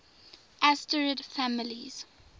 asterid families